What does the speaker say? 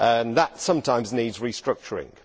That sometimes needs restructuring.